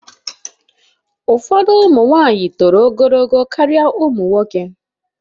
Ụfọdụ ụmụ nwanyị toro ogologo karịa ụmụ nwoke